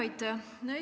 Aitäh!